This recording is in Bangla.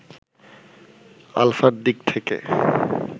আলফা’র দিক থেকে